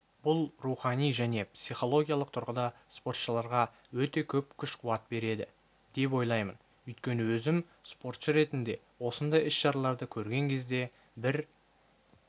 бұл рухани және психологиялық тұрғыда спортшыларға өте көп күш-қуат береді деп ойлаймын өйткені өзім спортшы ретінде осындай іс-шараларды көрген кезде бір